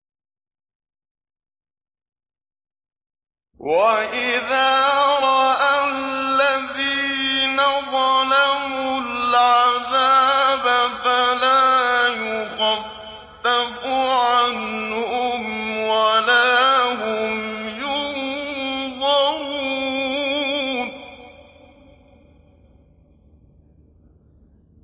وَإِذَا رَأَى الَّذِينَ ظَلَمُوا الْعَذَابَ فَلَا يُخَفَّفُ عَنْهُمْ وَلَا هُمْ يُنظَرُونَ